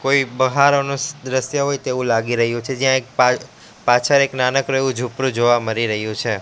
કોઈ બહારનો દ્રશ્ય હોય તેવું લાગી રહ્યું છે જ્યાં એક પાં પાછળ એક નાનકડુ એવું ઝુંપડું જોવા મળી રહ્યું છે.